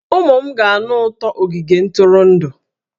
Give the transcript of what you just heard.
Ụmụ m ga-anụ ụtọ ogige ntụrụndụ